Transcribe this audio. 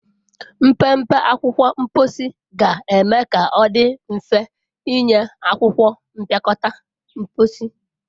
Mpempe akwụkwọ mposi ga-eme ka ọ dị mfe ịnye akwụkwọ mpịakọta mposi.